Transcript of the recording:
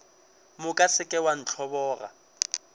moka se ke wa ntlhoboga